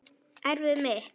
Erfiði mitt.